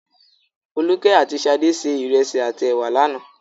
Folúkẹ́ àti Ṣadé se ìrẹsì àti ẹ̀wà lánàá.